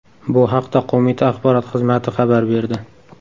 Bu haqda qo‘mita axborot xizmati xabar berdi.